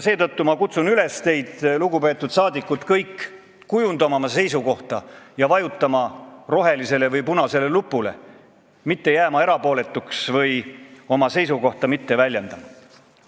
Seetõttu ma kutsun üles teid kõiki, lugupeetud saadikud, kujundama oma seisukohta ja vajutama rohelisele või punasele nupule, mitte jääma erapooletuks või mitte jätma oma seisukohta väljendamata.